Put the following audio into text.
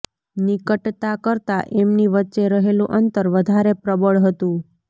નિકટતા કરતાં એમની વચ્ચે રહેલું અંતર વધારે પ્રબળ હતું